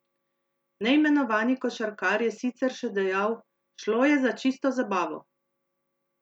Neimenovani košarkar je sicer še dejal: ''Šlo je za čisto zabavo.